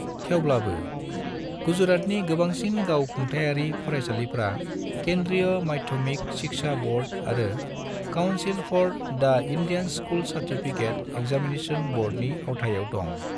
थेवब्लाबो, गुजरातनि गोबांसिन गाव खुंथाइयारि फरायसालिफ्रा केंद्रीय माध्यमिक शिक्षा बोर्ड आरो council for the Indian school certificate examination बोर्डनि आवथायाव दं।